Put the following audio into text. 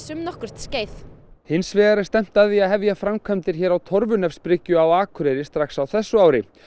um nokkurt skeið hins vegar er stefnt að því að hefja framkvæmdir hér á á Akureyri strax á þessu ári